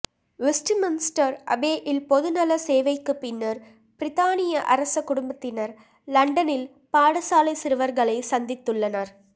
Westminster அபேயில் பொதுநல சேவைக்கு பின்னர் பிரித்தானிய அரச குடும்பத்தினர் ல்ண்டனில் பாடசாலை சிறுவர்களை சந்தித்துள்ளனர்